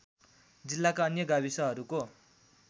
जिल्लाका अन्य गाविसहरूको